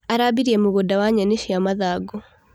Arambirie mũgũnda wa nyeni cia mathangũ.